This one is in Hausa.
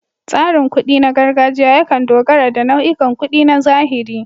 Tsarin kuɗi na gargajiya yakan dogara da nau'ikan kuɗi na zahiri.